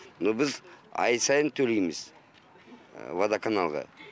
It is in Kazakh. но біз ай сайын төлейміз водоканалға